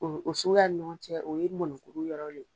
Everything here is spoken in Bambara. O o suguya nin ɲɔgɔn cɛ o ye mɔnikuru yɔrɔ le ye.